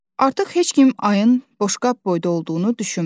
Artıq heç kim ayın boşqab boyda olduğunu düşünmür.